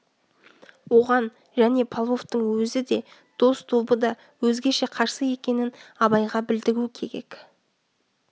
оған және павловтың өзі де дос тобы да өзгеше қарсы екенін абайға білдіру керек